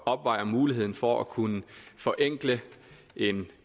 opvejer muligheden for at kunne forenkle en